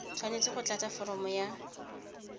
tshwanetse go tlatsa foromo ya